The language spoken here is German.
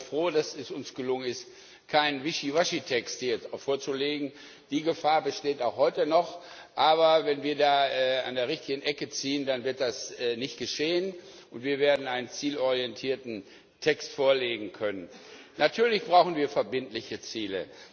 Ich bin also froh, dass es uns gelungen ist, hier jetzt keinen Wischiwaschi Text vorzulegen die Gefahr besteht auch heute noch, aber wenn wir da an der richtigen Ecke ziehen, dann wird das nicht geschehen, und wir werden einen zielorientierten Text vorlegen können. Natürlich brauchen wir verbindliche Ziele.